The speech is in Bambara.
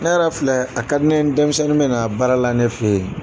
Ne yɛrɛ filɛ a ka di ne ye denmisɛnnin bɛ na baara la ne fɛ yen